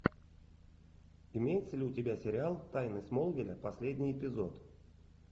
имеется ли у тебя сериал тайны смолвиля последний эпизод